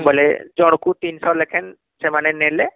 ବୋଇଲେ ଜଣ ଙ୍କୁ ୩୦୦ ଲେଖେ ସେମାନେ ନେଲେ